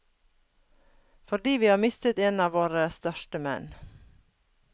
Fordi vi har mistet en av våre største menn.